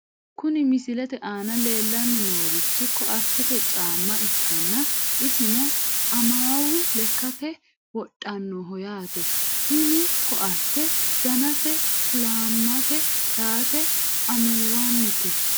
Kuni misilete aana leellanni noorichi koattete caamma ikkanna isino amawu lekkate wodhannoho yaate, tini koatte danase kuulaamete yaate amuwunnite .